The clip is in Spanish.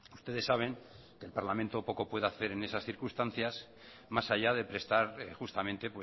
ustedes saben que el parlamento poco puede hacer en esas circunstancias más allá de prestar justamente